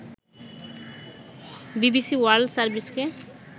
BBC world সার্ভিসকে